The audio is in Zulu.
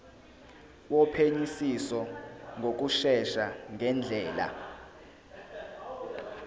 wophenyisiso ngokushesha ngendlela